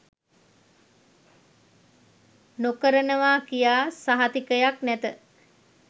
නොකරනවා කියා සහතිකයක් නැත